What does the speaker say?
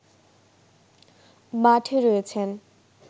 মাঠে রয়েছেন